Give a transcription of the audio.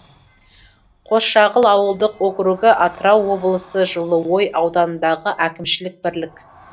қосшағыл ауылдық округі атырау облысы жылыой ауданындағы әкімшілік бірлік